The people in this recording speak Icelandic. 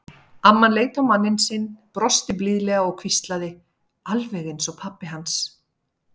Amman leit á manninn sinn, brosti blíðlega og hvíslaði: Alveg eins og pabbi hans.